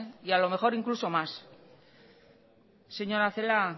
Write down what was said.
y a lo mejor incluso más señora celaá